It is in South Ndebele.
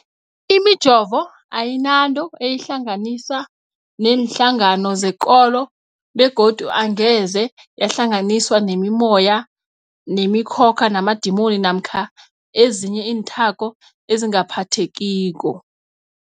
Imijovo ayinanto eyihlanganisa neenhlangano zekolo begodu angeze yahlanganiswa nemimoya, nemi khokha, namadimoni namkha ezinye iinthako ezingaphathekiko.